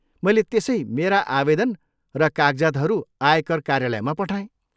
मैले त्यसै मेरा आवेदन र कागजातहरू आयकर कार्यालयमा पठाएँ।